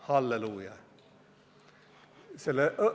Halleluuja!